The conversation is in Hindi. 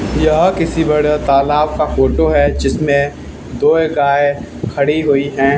यह किसी बड़े तालाब का फोटो है जिसमें दो गाय खड़ी हुई हैं।